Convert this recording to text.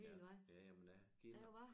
Ja jamen jeg kender